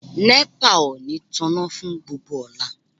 Nepa ò ní tanná fún gbogbo ọ̀la.